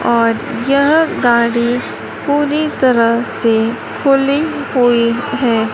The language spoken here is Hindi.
और यह गाड़ी पूरी तरह से खुली हुई हैं।